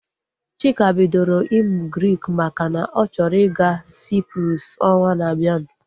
Chika bidoro ịmụ Grik makana ọ chọrọ ịga Cyprus ọnwa na abianu